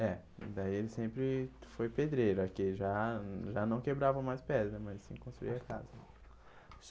É, daí ele sempre foi pedreiro aqui, já já não quebrava mais pedra, mas sim construía a casa.